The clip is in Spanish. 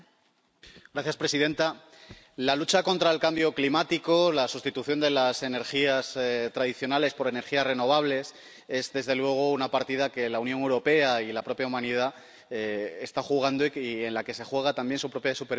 Señora presidenta, la lucha contra el cambio climático o la sustitución de las energías tradicionales por energías renovables es, desde luego, una partida que la Unión Europea y la propia humanidad están jugando y en la que se juegan también su propia supervivencia.